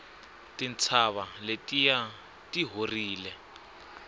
tintshava letiya ti horile